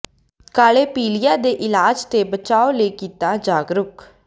ਕਾਲੇ ਪੀਲੀਏ ਦੇ ਇਲਾਜ ਤੇ ਬਚਾਅ ਲਈ ਕੀਤਾ ਜਾਗਰੂਕ